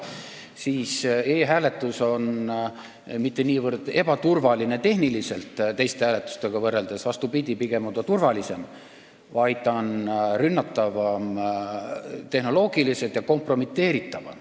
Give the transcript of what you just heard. E-hääletus ei ole teiste hääletusviisidega võrreldes mitte niivõrd tehniliselt ebaturvaline – vastupidi, pigem on ta turvalisem –, vaid ta on tehnoloogiliselt rünnatavam ja kompromiteeritavam.